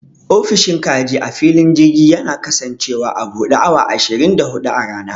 Ofishin kaji a filin girji yana kasancewa a buɗe awa ashirin da huɗu a rana.